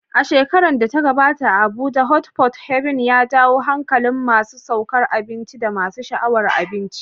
A shekarar da ta gabata, a Abuja, Hot Pot Haven ya jawo hankalin masu sukar abinci da masu sha'awar abinci.